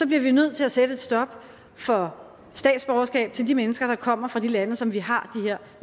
vi nødt til at sætte et stop for statsborgerskab til de mennesker der kommer fra de lande som vi har her